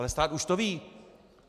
Ale stát už to ví.